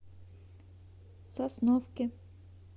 сосновке